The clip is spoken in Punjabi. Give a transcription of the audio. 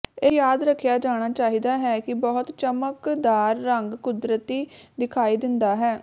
ਇਹ ਯਾਦ ਰੱਖਿਆ ਜਾਣਾ ਚਾਹੀਦਾ ਹੈ ਕਿ ਬਹੁਤ ਚਮਕਦਾਰ ਰੰਗ ਕੁਦਰਤੀ ਦਿਖਾਈ ਦਿੰਦਾ ਹੈ